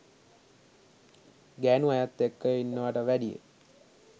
ගෑණු අයත් එක්ක ඉන්නවට වැඩිය